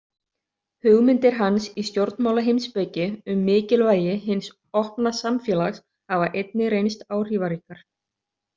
Hugmyndir hans í stjórnmálaheimspeki um mikilvægi hins opna samfélags hafa einnig reynst áhrifaríkar.